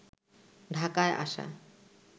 ঢাকায় আসা